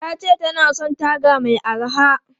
Ta ce ta na son taga mai araha.